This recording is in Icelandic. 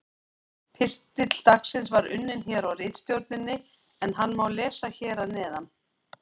Pistill dagsins var unninn hér á ritstjórninni en hann má lesa hér að neðan: